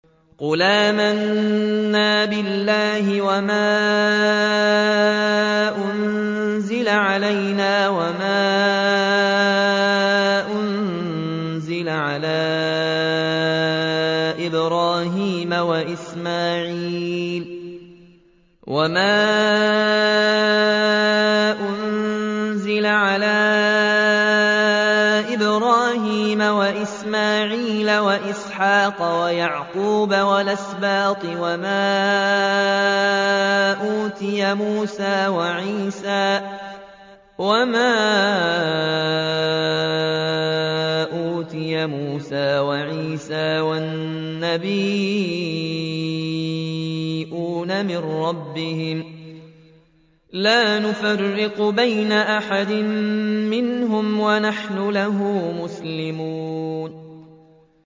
قُلْ آمَنَّا بِاللَّهِ وَمَا أُنزِلَ عَلَيْنَا وَمَا أُنزِلَ عَلَىٰ إِبْرَاهِيمَ وَإِسْمَاعِيلَ وَإِسْحَاقَ وَيَعْقُوبَ وَالْأَسْبَاطِ وَمَا أُوتِيَ مُوسَىٰ وَعِيسَىٰ وَالنَّبِيُّونَ مِن رَّبِّهِمْ لَا نُفَرِّقُ بَيْنَ أَحَدٍ مِّنْهُمْ وَنَحْنُ لَهُ مُسْلِمُونَ